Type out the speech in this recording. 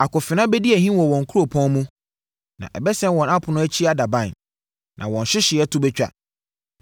Akofena bɛdi ahim wɔ wɔn kuropɔn mu na ɛbɛsɛe wɔn apono akyi adaban na wɔn nhyehyɛeɛ to bɛtwa.